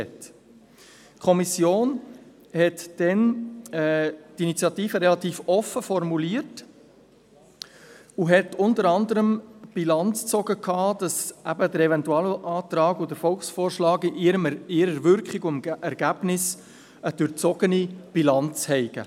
Die Kommission formulierte die Initiative damals relativ offen und zog unter anderem dahingehend Bilanz, dass der Eventualantrag und der Volksvorschlag in deren Wirkung und Ergebnis eine durchzogene Bilanz aufweisen.